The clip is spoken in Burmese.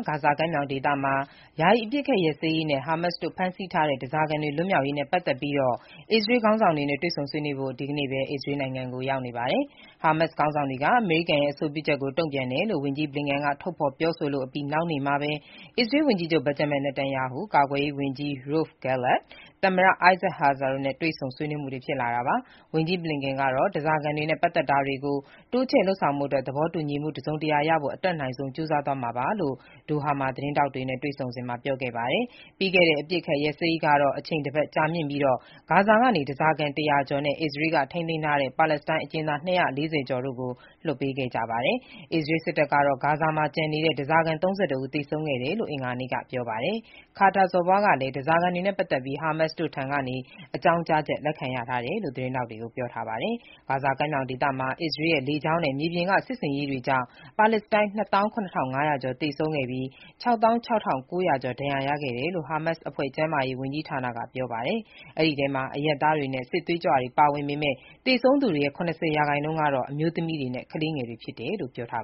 ဂါဇာကမ်းမြောင်မှာ ယာယီအပစ်အခတ်ရပ်စဲရေးနဲ့ ဟာမတ်စ်တို့ ဖမ်းဆီးထားတဲ့ ဓါးစာခံတွေ ပြန်လွှတ်ပေးရေးကိစ္စတွေ အစ္စရေးခေါင်းဆောင်တွေနဲ့ ဆွေးနွေးဖို့ အမေရိကန် နိုင်ငံခြားရေးဝန်ကြီး Antony Blinken ဟာ အစ္စရေးကို ဒီကနေ့ ရောက်နေပါတယ်။ အမေရိကန်နဲ့ အစ္စရေးတို့ရဲ့ အဆိုပြုချက်ကို ဟာမတ်စ်တို့ဘက်က တုံ့ပြန်တယ်လို့ ဝန်ကြီး Blinken က ထုတ်ဖော်ပြောဆိုအပြီး နောက်နေ့မှာပဲ အစ္စရေးဝန်ကြီးချုပ် Benjamin Netanyahu ၊ ကာကွယ်ရေးဝန်ကြီး Yoav Gallant ၊ သမ္မတ Isaac Herzog တို့နဲ့ တွေ့ဆုံဆွေးနွေးမှုတွေ ဖြစ်လာတာပါ။ ဝန်ကြီး Blinken ကတော့ ဓားစာခံတွေနဲ့ ပတ်သတ်တဲ့ သဘောတူညီချက်ကို တိုးချဲ့လုပ်ဆောင်ဖို့အတွက် သဘောတူညီမှုတခုရဖို့ အတတ်နိုင်ဆုံးကြိုးစားသွားမှာပါလို့ ကာတာနိုင်ငံ၊ ဒိုဟာမြို့မှာ သတင်းထောက်တွေနဲ့ တွေ့ဆုံစဉ်မှာ ပြောပါတယ်။ သီတင်းတပတ်ကြာခဲ့တဲ့ ပြီးခဲ့တဲ့ ယာယီအပစ်အခတ်ရပ်စဲရေး ကာလတုန်းကတော့ ဂါဇာကနေ ဓားစာခံ ၁၀၀ ကျော်နဲ့ အစ္စရေးက ထိန်းသိမ်းထားတဲ့ ပါလက်စတိုင်းအကျဉ်းသား ၂၄၀ ကျော်တို့ကို အပြန်အလှန် လွှတ်ပေးခဲ့ပါတယ်။ အစ္စရေးစစ်တပ်ကတော့ ကျန်နေတဲ့ ဓားစာခံ ၃၁ ဦး သေဆုံးခဲ့တယ်လို့ အင်္ဂါနေ့က ပြောပါတယ်။ ဂါဇာကမ်းမြောင်ဒေသမှာ အစ္စရေးရဲ့ လေကြောင်းနဲ့ မြေပြင်စစ်ဆင်ရေးတွေကြောင့် ပါလက်စတိုင်း ၂၇,၅၀၀ ကျော် သေဆုံးပြီး ၆၆,၉၀၀ ဒဏ်ရာရခဲ့တယ်လို့ ဟားမတ်စ်လက်အောက်ခံ ကျန်းမာရေးဌာနက ပြောပါတယ်။ အဲ့ဒီထဲမှာ အရပ်သားတွေနဲ့ စစ်သွေးကြွတွေ ပါဝင်ပေမဲ့ သေဆုံးသူတွေရဲ့ ၇၀ ရာခိုင်နှုန်းဟာ အမျိုးသမီးတွေနဲ့ ကလေးငယ်တွေ ဖြစ်တယ်လို့ ပြောပါ